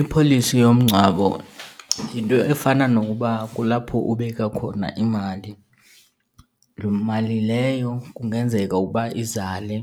I-policy yomngcwabo yinto efana nokuba kulapho ubeka khona imali. Loo mali leyo kungenzeka ukuba izale